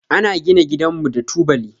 Ana gina gidanmu da tubali.